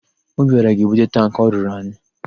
Obiọra ga-ebute tankị ọ rụrụ anyị.